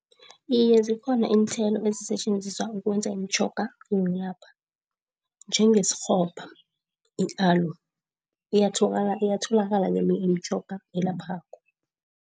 Iye zikhona iinthelo ezisetjenziswa ukwenza imitjhoga yokulapha. Njengesikghopha i-alo iyatholakala imitjhoga elaphako.